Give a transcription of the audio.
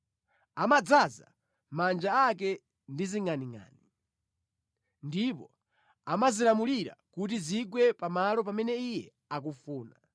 Amadzaza manja ake ndi zingʼaningʼani, ndipo amazilamulira kuti zigwe pamalo pamene Iye akufuna.